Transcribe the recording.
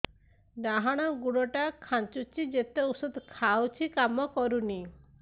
ଡାହାଣ ଗୁଡ଼ ଟା ଖାନ୍ଚୁଚି ଯେତେ ଉଷ୍ଧ ଖାଉଛି କାମ କରୁନି